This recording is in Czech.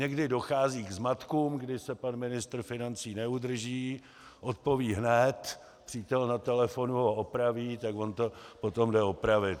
Někdy dochází k zmatkům, když se pan ministr financí neudrží, odpoví hned, přítel na telefonu ho opraví, tak on to potom jde opravit.